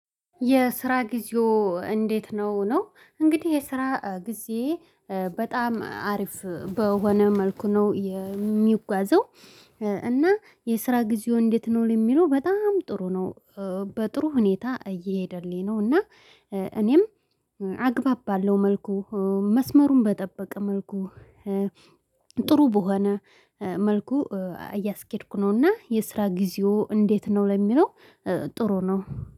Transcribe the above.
የስራ ጊዜው እንዴት ነው ነው እንግዲህ የስራ ጊዜ በጣም አሪፍ በሆነ መልኩ ነው የሚጓዘው። እና የስራ ጊዜው እንዴት ነው ለሚለው በጣም ጥሩ ነው። በጥሩ ሁኔታ እየሄደልኝ ነው እና እኔም አግባብ ባለው መልኩ መስመሩን በጠበቀ መልኩ ጥሩ በሆነ መልኩ እያስኬድኩ ነውና። የስራ ጊዜው እንዴት ነው ለሚለው ጥሩ ነው